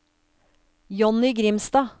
Johnny Grimstad